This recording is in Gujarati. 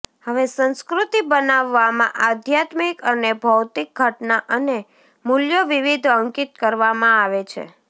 હવે સંસ્કૃતિ બનાવવામાં આધ્યાત્મિક અને ભૌતિક ઘટના અને મૂલ્યો વિવિધ અંકિત કરવામાં આવે છે